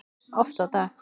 Oft á dag.